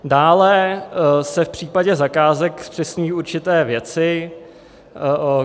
Dále se v případě zakázek zpřesňují určité věci.